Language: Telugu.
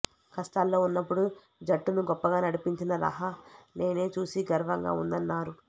కష్టాల్లో ఉన్నప్పుడు జట్టును గొప్పగా నడిపించిన రహానేను చూసి గర్వంగా ఉందన్నారు